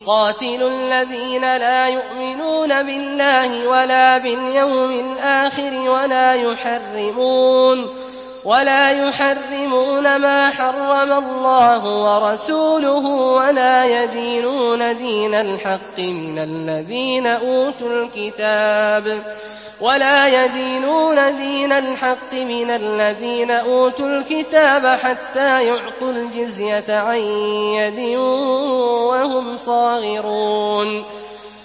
قَاتِلُوا الَّذِينَ لَا يُؤْمِنُونَ بِاللَّهِ وَلَا بِالْيَوْمِ الْآخِرِ وَلَا يُحَرِّمُونَ مَا حَرَّمَ اللَّهُ وَرَسُولُهُ وَلَا يَدِينُونَ دِينَ الْحَقِّ مِنَ الَّذِينَ أُوتُوا الْكِتَابَ حَتَّىٰ يُعْطُوا الْجِزْيَةَ عَن يَدٍ وَهُمْ صَاغِرُونَ